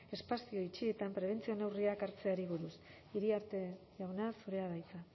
espazio itxietan prebentzio neurriak hartzeari buruz iriarte jauna zurea da hitza